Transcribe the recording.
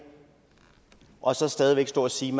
og så stadig væk stå og sige